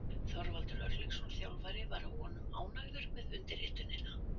Þorvaldur Örlygsson þjálfari var að vonum ánægður við undirritunina.